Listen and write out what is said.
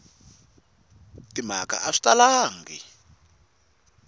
na timhaka a swi talangi